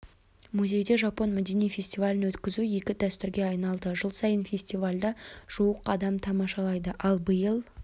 музейде жапон мәдени фестивалін өткізу игі дәстүрге айналды жыл сайын фестивальді жуық адам тамашалайды ал биыл